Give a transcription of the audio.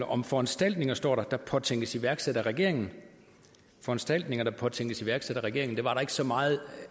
om foranstaltninger står der der påtænkes iværksat af regeringen foranstaltninger der påtænkes iværksat af regeringen var der ikke så meget